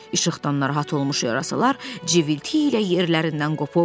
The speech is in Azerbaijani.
İşıqdan narahat olmuş yarasalar cıvıltı ilə yerlərindən qovuldu.